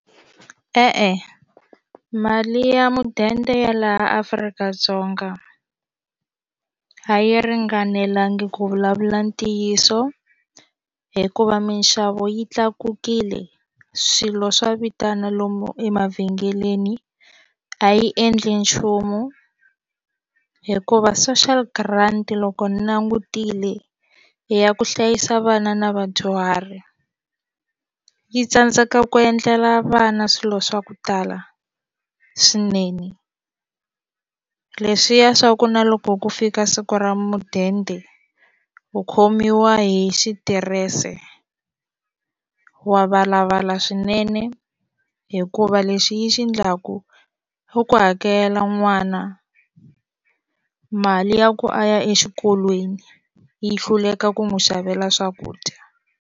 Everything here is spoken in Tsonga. E-e mali ya mudende ya laha Afrika-Dzonga a yi ringanelanga ku vulavula ntiyiso hikuva minxavo yi tlakukile swilo swa vitana lomu emavhengeleni a yi endli nchumu hikuva social grant loko ni langutile hi ya ku hlayisa vana na vadyuhari yi tsandzeka ku endlela vana swilo swa ku tala swinene leswiya swa ku na loko ku fika siku ra mudende u khomiwa hi xitirese wa valavala swinene hikuva u lexi yi xi endlaku i ku hakela n'wana mali ya ku a ya exikolweni yi hluleka ku n'wi xavela swakudya.